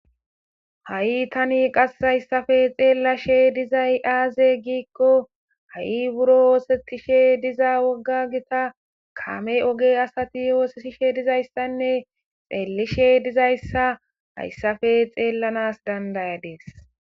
Ha'i tani qas hayssafe xeellashe dizay aaze giikko ha7i buro woosetishe diza wogga gita kame oge asati oosetishe dizayssanne xeellishe dizayssa hayssafe xeellanas dandayadees.